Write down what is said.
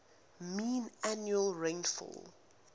mean annual rainfall